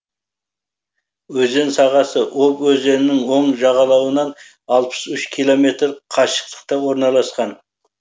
өзен сағасы обь өзенінің оң жағалауынан алпыс үш километр қашықтықта орналасқан